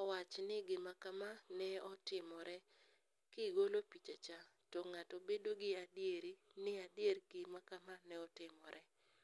owach ni gima kama ne otimore kigolo pichacha to ng'ato bedo gi adieri ni adier gima kama ne otimore.